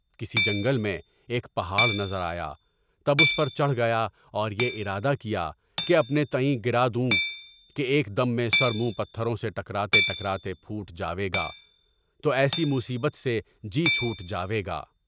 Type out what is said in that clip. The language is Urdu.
کسی جنگل میں ایک پہاڑ نظر آیا، تب اس پر چڑھ گیا اور یہ ارادہ کیا کہ اپنے تئیں گرادوں کے ایک دم میں سر منہ پتھروں سے ٹکراتے ٹکراتے پھوٹ جائے گا، تو ایسی مصیبت سے جی چھوٹ جائے گا۔